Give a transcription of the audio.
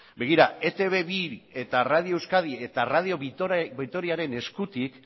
begira etb bi radio euskadi eta radio vitoriaren eskutik